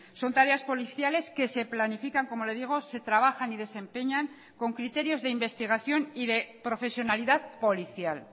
son tareas policiales que se planifican como le digo se trabajan y desempeñan con criterios de investigación y de profesionalidad policial